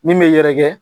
Min bɛ yɛrɛkɛ